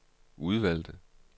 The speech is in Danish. udvalgte